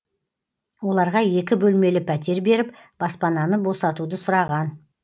оларға екі бөлмелі пәтер беріп баспананы босатуды сұраған